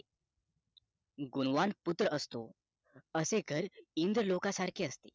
गुण वाण पुत्र असतो असे घर इंद्र लोक सारखे असते